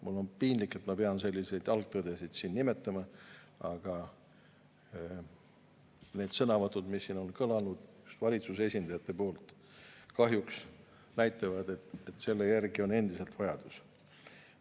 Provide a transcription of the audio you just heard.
Mul on piinlik, et ma pean siin selliseid algtõdesid nimetama, aga need sõnavõtud, mis on kõlanud valitsuse esindajate poolt, kahjuks näitavad, et selle järgi on endiselt vajadus.